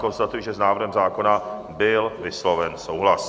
Konstatuji, že s návrhem zákona byl vysloven souhlas.